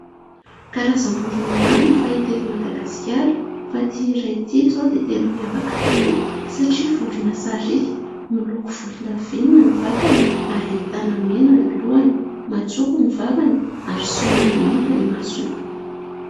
karazam-borina maro ny fahita eto Madagasikara fa ity iray itỳ izao dia tena miavaka tokoa satria vorina sarika miloako volondavenina ny vatany ary tanamena ny lohany matsoko ny vavany ary symari maintyny masony